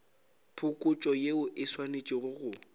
phokotšo yeo e swanetše go